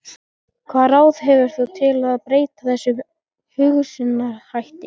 Hvaða ráð hefur þú til að breyta þessum hugsunarhætti?